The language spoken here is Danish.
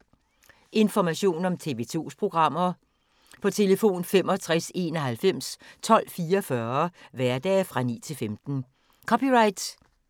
Information om TV 2's programmer: 65 91 12 44, hverdage 9-15.